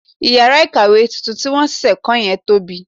18. Ìyàrá kàwé tuntun tí wọn ṣẹ̀ṣẹ̀ kò yẹn tóbi.